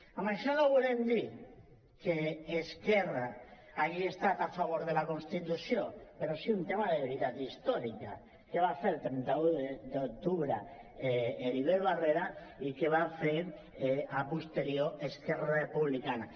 amb això no volem dir que esquerra hagi estat a favor de la constitució però sí un tema de veritat històrica què va fer el trenta un d’octubre heribert barrera i què va fer a posteriori esquerra republicana